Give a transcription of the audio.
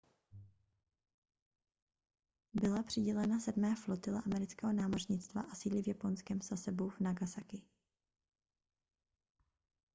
byla přidělena sedmé flotile amerického námořnictva a sídlí v japonském sasebu v nagasaki